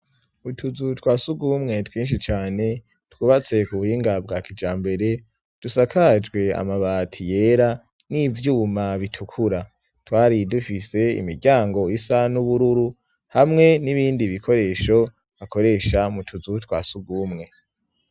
Utuzu twa sugumwe twinshi cane twubatse ku buhinga bwakija mbere dusakajwe amabati yera nivyuma bitukura twari dufise imiryango isa n'ubururu hamwe n'ibindi bikoresho akoresha mutuzu twa sugumwe.